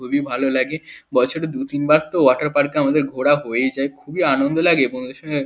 খুবই ভালো লাগে বছরে দু তিনবার তো ওয়াটার পার্কে আমাদের ঘোরা হয়েই যায় খুবই আনন্দ লাগে বন্ধুর সঙ্গে।